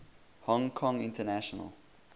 hong kong international